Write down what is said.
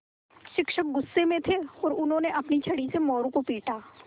शिक्षक गुस्से में थे और उन्होंने अपनी छड़ी से मोरू को पीटा